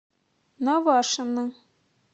навашино